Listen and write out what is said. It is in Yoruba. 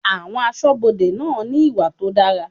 Àwọn aṣọbode náà ní ìwà tó dára.